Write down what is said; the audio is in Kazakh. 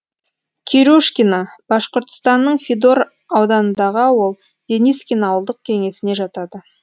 кирюшкино башқұртстанның федор ауданындағы ауыл денискин ауылдық кеңесіне жатады